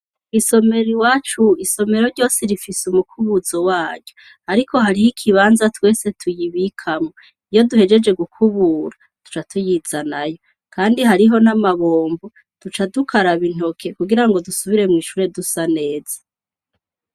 Isomero iwacu, isomero ryose rifise umukubuzo waryo, ariko hariyo ikibanza twese tuyibikamo iyo duhejeje gukubura tuca tuyizanayo kandi hariho n' amabombo tuca dukaraba intoke kugira dusubire mwi shure dusa neza.